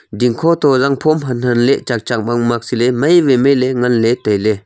ding kho toh zang phom han han ley chak mak mak si ley mai wai mai ley ngan ley tai ley.